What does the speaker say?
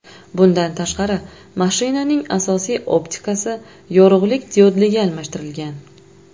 Bundan tashqari, mashinaning asosiy optikasi yorug‘lik diodliga almashtirilgan.